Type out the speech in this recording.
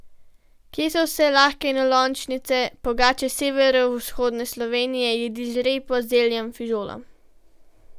Kje so vse lahke enolončnice, pogače severovzhodne Slovenije, jedi z repo in zeljem, fižolom...